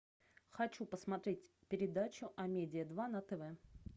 хочу посмотреть передачу амедиа два на тв